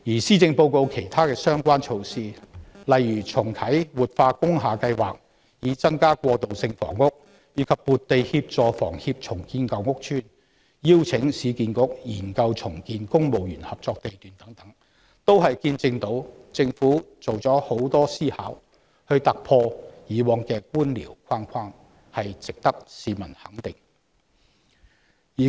施政報告其他相關措施，例如重啟活化工廈計劃以增加過渡性房屋供應、撥地協助香港房屋協會重建舊屋邨，以及邀請市區重建局研究重建公務員合作社地段等，均顯示政府多番思量以求突破過往的官僚框框，值得市民給予肯定。